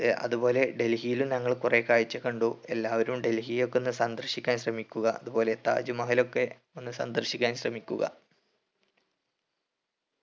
ഏർ അതുപോലെ ഡൽഹിയിൽ ഞങ്ങൾ കുറെ കാഴ്ച്ച കണ്ടു എല്ലാവരും ഡൽഹി ഒക്കെ ഒന്ന് സന്ദർശിക്കാൻ ശ്രമിക്കുക അതുപോലെ താജ്‌മഹൽ ഒക്കെ ഒന്ന് സന്ദർശിക്കാൻ ശ്രമിക്കുക